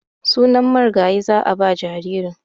Sunan marigayi za a ba jaririn.